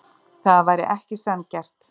Það væri ekki sanngjarnt.